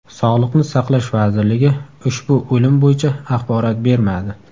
Sog‘liqni saqlash vazirligi ushbu o‘lim bo‘yicha axborot bermadi.